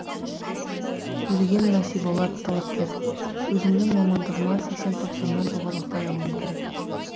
төлеген насиболат талапкер өзімнің мамандығыма сексен тоқсаннан жоғары ұпай алуым керек